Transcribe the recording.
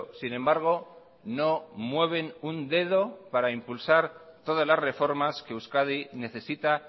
sin embargo no mueven un dedo para impulsar todas las reformas que euskadi necesita